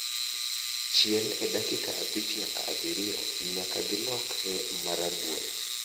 Chiel e dakika abich nyaka abirio nyaka gilokre marabuora